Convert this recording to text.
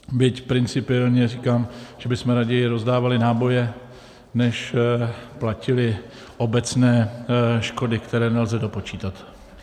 Byť principiálně říkám, že bychom raději rozdávali náboje než platili obecné škody, které nelze dopočítat.